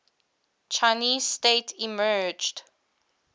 chinese state emerged